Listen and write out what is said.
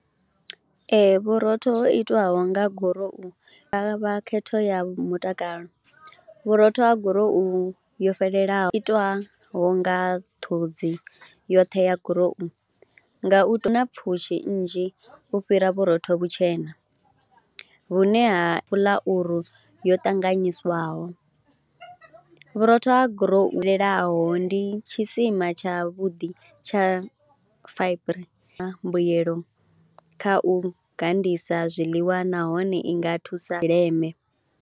Ee vhurotho ho itwaho nga gurowu hu nga vha khetho ya mutakalo, vhurotho ha gurowu yo fhelelaho itwaho nga ṱhodzi yoṱhe ya gurowu nga u tou. hu na pfhushi nnzhi u fhira vhurotho vhutshena vhune ha fuḽauru yo ṱanganyiswaho, vhurotho ha gurowu i ndi tshisima tshavhuḓi tsha fa i re na mbuyelo kha u gandisa zwiḽiwa nahone i nga thusa leme.